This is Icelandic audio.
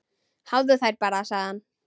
Hafðu þær bara, sagði hann.